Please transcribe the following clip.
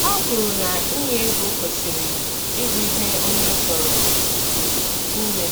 Ha kwuru na inye ego kwesịrị ịbụ ihe onye chọrọ ime,